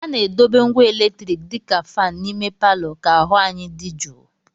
A na-edobe ngwa eletriki dị ka fan n'ime palọ ka ahụ anyi dị jụụ